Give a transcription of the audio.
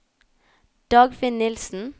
Dagfinn Nielsen